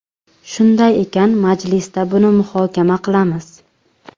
Shunday ekan, majlisda buni muhokama qilamiz.